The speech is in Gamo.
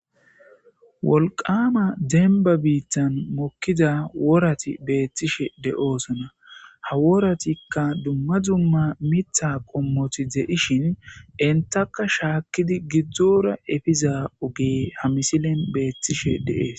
Woqama demba bitan mokiza worat be'ishe de'osona, ha worayka dumma dumma mitha qomot de'shn entiaka shakid gidora efiza ogey ha misilen betishe de'es.